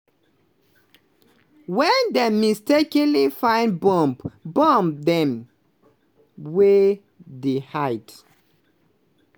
wen dem mistakenly find bomb bomb dem wey dey hide